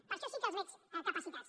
per a això sí que els veig capacitats